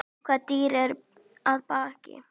Hvað býr að baki?